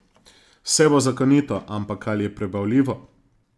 Vse bo zakonito, ampak ali je prebavljivo?